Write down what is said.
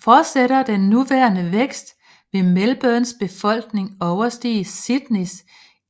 Fortsætter den nuværende vækst vil Melbournes befolkning overstige Sydneys